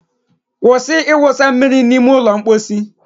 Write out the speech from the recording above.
Kwụsị ịwụsa mmiri n'ime ụlọ mposi